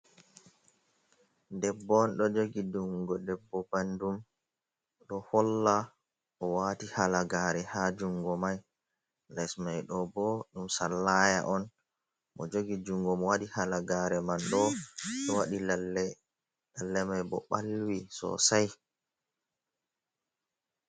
Debbo on ɗo jogi jungo debbo ɓandum. Ɗo holla o'wati halagare ha jungo mai. Les mai ɗo bo ɗum sallaya on. O' jogi jungo mo waɗi halagare man ɗo ɗo waɗi lalle. Lalle mai bo ɓalwi sosai.